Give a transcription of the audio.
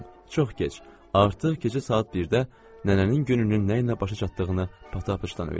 Çox keç, artıq gecə saat 1-də nənənin gününün nə ilə başa çatdığını Patappıçdan öyrəndim.